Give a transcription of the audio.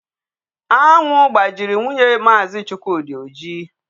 Anwụ gbajiri nwunye Maazi Chukwudi oji.